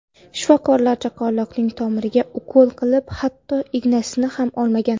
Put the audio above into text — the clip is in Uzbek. Shifokorlar chaqaloqning tomiriga ukol qilib, hatto ignasini ham olmagan.